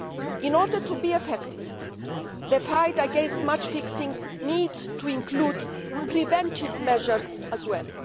In order to be effective, the fight against match fixing needs to include preventive measures as well.